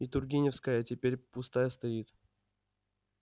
и тургеневская теперь пустая стоит